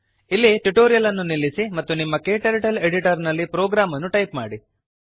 ಇಲ್ಲಿ ಟ್ಯುಟೋರಿಯಲ್ ಅನ್ನು ನಿಲ್ಲಿಸಿ ಮತ್ತು ನಿಮ್ಮ ಕ್ಟರ್ಟಲ್ editorನಲ್ಲಿ ಪ್ರೋಗ್ರಾಮ್ ಅನ್ನು ಟೈಪ್ ಮಾಡಿ